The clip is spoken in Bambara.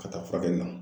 Ka taa furakɛli la